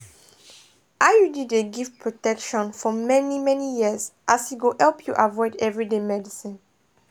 iud dey give protection for many-many years as e go help you avoid everyday medicines.